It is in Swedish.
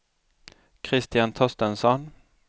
Christian Torstensson